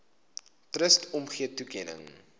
trust omgee toekenning